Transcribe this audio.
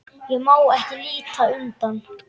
Ég má ekki líta undan.